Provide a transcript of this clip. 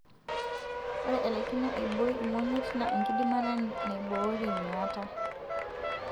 ore alaikino aiboi imonyit na enkidimata niborie miata.